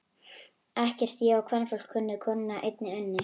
Ekkert ég á kvenfólk kunni, konunni ég einni unni.